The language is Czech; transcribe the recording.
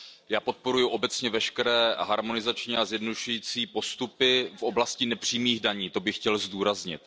Já podporuji obecně veškeré harmonizační a zjednodušující postupy v oblasti nepřímých daní, to bych chtěl zdůraznit.